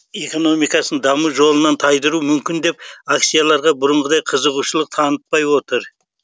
экономикасын даму жолынан тайдыруы мүмкін деп акцияларға бұрынғыдай қызығушылық танытпай отыр